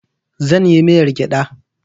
Zan yi miyar gyada